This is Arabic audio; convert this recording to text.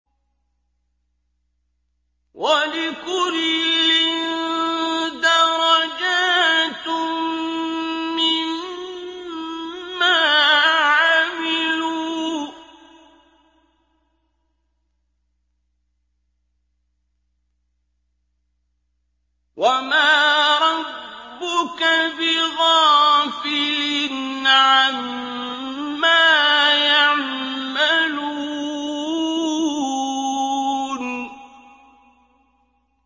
وَلِكُلٍّ دَرَجَاتٌ مِّمَّا عَمِلُوا ۚ وَمَا رَبُّكَ بِغَافِلٍ عَمَّا يَعْمَلُونَ